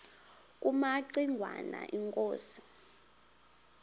kumaci ngwana inkosi